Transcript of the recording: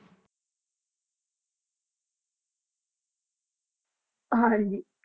ਹਾਂਜੀ